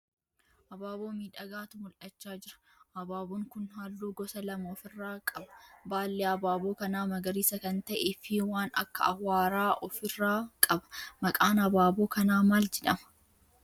Abaaboo miidhagaatu mul'achaa jira. Abaaboon kun halluu gosa lama ofi irraa qaba. Baalli abaaboo kanaa magaariisa kan ta'ee fi waan akka awwaaraa ofi irra qaba. maqaan abaaboo kanaa maal jedhama?